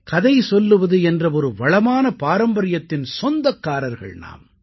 கதை சொல்லுவது என்ற ஒரு வளமான பாரம்பரியத்தின் சொந்தக்காரர்கள் நாம்